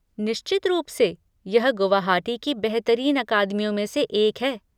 निश्चित रूप से, यह गुवाहाटी की बेहतरीन अकादमियों में से एक है।